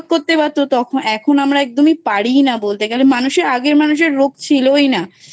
করতে পারতো তখন এখন আমরা একদমই পারি ই না বলতে গেলে মানুষের আগের মানুষের রোগ ছিল ই না